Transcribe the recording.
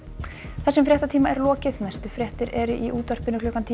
þessum fréttatíma er lokið næstu fréttir eru í útvarpi klukkan tíu